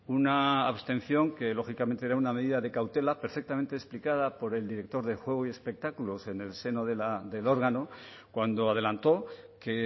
una abstención que lógicamente era una medida de cautela perfectamente explicada por el director de juego y espectáculos en el seno del órgano cuando adelantó que